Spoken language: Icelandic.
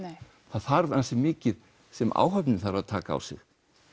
það þarf mikið sem áhöfnin þarf að taka á sig